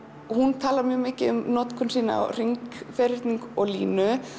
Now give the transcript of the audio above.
hún talar mikið um notkun sína á hring ferhyrning og línu